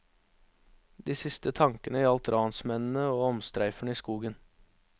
De siste tankene gjaldt ransmennene og omstreiferne i skogen.